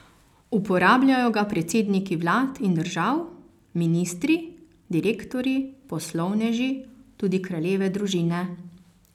Uporabljajo ga predsedniki vlad in držav, ministri, direktorji, poslovneži, tudi kraljeve družine.